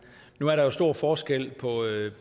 nu er der stor forskel